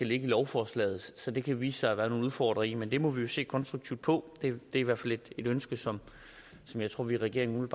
ligger i lovforslaget så det kan der vise sig at være nogle udfordringer i men det må vi jo se konstruktivt på det er i hvert fald et ønske som jeg tror vi i regeringen